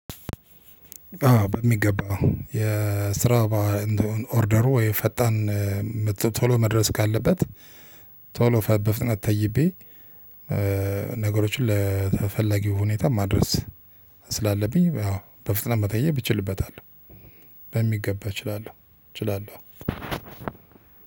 አዎ በሚገባው የስራ ኦርደሩ የፈጣን ቶሎ መድረስ ካለበት ቶሎ በፍጥነት ተይቤ ነገሮችን ለተፈለጊው ሁኔታ ማድረስ ስላለብኝ አዎ በፍጥነት መጠየቅ እችልበታለሁ። በሚገባ እችላለሁ እችላለሁ።